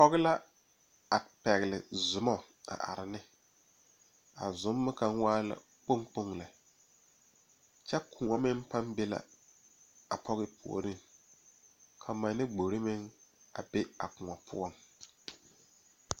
pɔge la a pɛgele soma a are ne a sommo kaŋ waa la kpoŋ kpoŋ lɛ kyɛ kóɔ meŋ baŋ be la a pɔge puoriŋ ka manne gbori meŋ a be a kóɔ